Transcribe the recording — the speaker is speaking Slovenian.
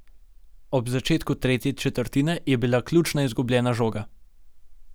Ob začetku tretje četrtine je bila ključna izgubljena žoga.